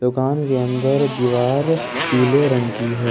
दुकान के अंदर दीवार पीले रंग की है।